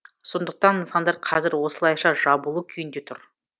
сондықтан нысандар қазір осылайша жабулы күйінде тұр